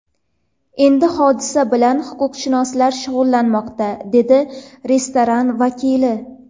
Endi hodisa bilan huquqshunoslar shug‘ullanmoqda, dedi restoran vakili.